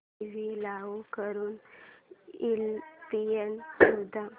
TV चालू करून ESPN शोध